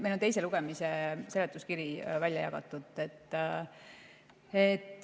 Meil on teise lugemise seletuskiri välja jagatud.